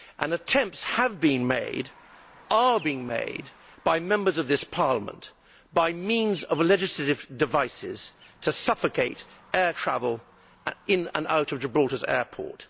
Attempts have been made, and are being made, by Members of this Parliament, by means of legislative devices, to suffocate air travel in and out of Gibraltar's airport.